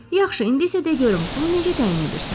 Yaxşı, indi isə de görüm, bunu necə təyin edirsən?